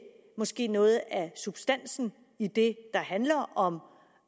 måske noget af substansen i det der handler om